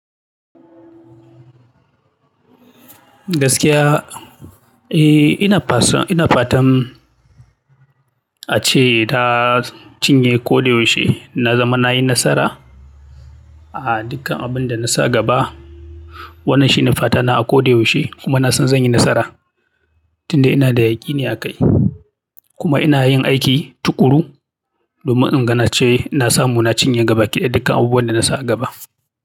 Gaskiya, eh ina kasuwa, ina fatan ace ta cinye koda yaushe na zama nayi nasara a dukkan abunda na sa a gaba. Wannan shi ne fata na a ko da yaushe kuma na san zan yi nasara, tunda ina da yaƙini a kai. Kuma ina yin aiki tuƙuru domin inga na ce, ina samu inga na cinye duk abunda na sa a gaba.